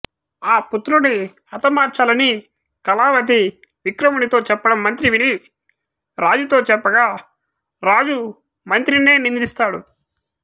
ఆ పుత్రుని హతమార్చాలని కళావతి విక్రమునితో చెప్పడం మంత్రి విని రాజుతో చెప్పగా రాజు మంత్రినే నిందిస్తాడు